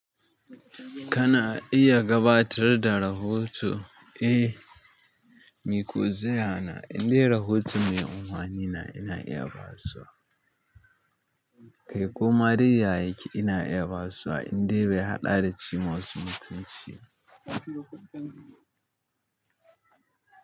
Kana iya gabatar da rahoto? Eh, meko zai hana indai rahoto ne umarni na ina iya basuwa. Kai ko madai ya yake ina iya basuwa indai bai haɗa da ci masu mutunci ba.